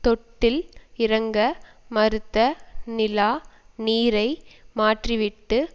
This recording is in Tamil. தொட்டியில் இறங்க மறுத்த நிலா நீரை மாற்றிவிட்டு